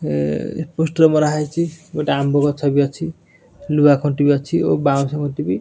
ଏ poster ମରା ହେଇଛି ଗୋଟେ ଆମ୍ବ ଗଛ ବି ଅଛି ଲୁହା କଣ୍ଟି ବି ଅଛି ଓ ବାଉଁଶ କଣ୍ଟି ବି --